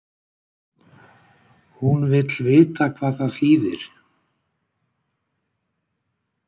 hún vill vita hvað það þýðir